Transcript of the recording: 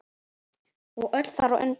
Og öll þar á undan.